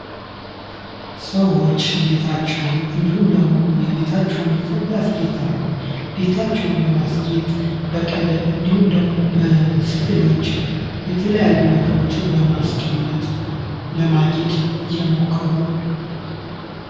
ሰዎች ቤታቸውን እንዲሁም ደግሞ የቤታቸውን ስር ያሰጌጣሉ። ቤታቸውን ለማስጌጥ በቀለም እንዲሁም ደግሞ በስዕሎች የተለያዩ ነገሮችን በማስቀመጥ ማጌጥ እየሞከሩ